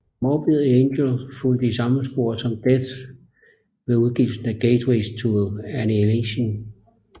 Morbid Angel fulgte i samme spor som Death ved udgivelsen af Gateways to Annihilation